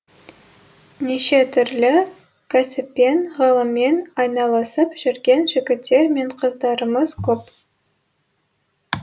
неше түрлі кәсіппен ғылыммен айналысып жүрген жігіттер мен қыздарымыз көп